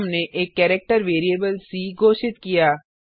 फिर हमने एक कैरेक्टर वेरिएबल सी घोषित किया